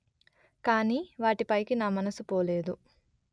కానీ వాటిపైకి నా మనసు పోలేదు